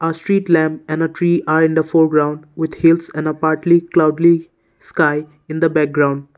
street lamp and a tree are in the four ground with hills and a partly cloudly sky in the background.